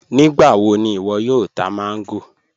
Nígbàwọ̀ ni iwo yóò tà mango?